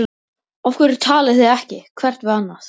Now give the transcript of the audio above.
Af hverju talið þið ekki hvert við annað?